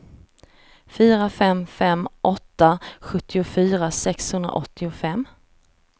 fyra fem fem åtta sjuttiofyra sexhundraåttiofem